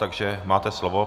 Takže máte slovo.